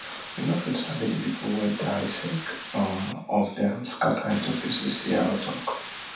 you no fit sabi di pipu wey die sake um of dem scatter into pieces yaro tok